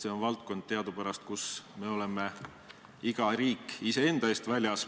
See on teadupärast valdkond, kus iga riik on iseenda eest väljas.